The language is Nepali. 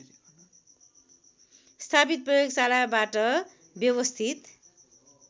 स्थापित प्रयोगशालाबाट व्यवस्थित